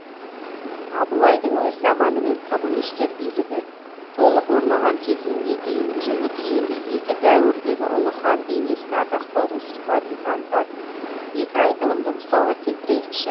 абылайдың өз заманы мен коммунистер билігі толық орнаған кезеңге дейінгі және кейінгі екі дәуірдегі ұлы хан бейнесін ардақтаудың сипатын танытатын екі айтылымды мысалға келтірейікші